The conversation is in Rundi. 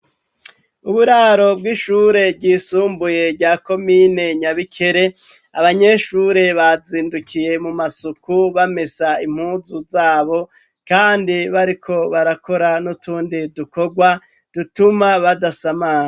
Uburaro bw'ishure ryisumbuye rya komine Nyabikere abanyeshure bazindukiye mu masuku bamesa impunzu zabo kandi bariko barakora n'utundi dukorwa dutuma badasamara.